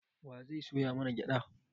Wa zai soya mana gyaɗa?